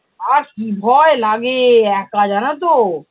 আর কি ভয় লাগে একা জানতো?